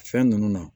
Fɛn ninnu na